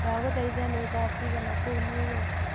ndagũthaĩtha ni thaa cĩĩgana kũũ new york